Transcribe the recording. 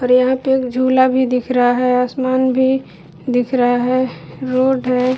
और यहां पे एक झूला भी दिख रहा है। आसमान भी दिख रहा है। रोड है।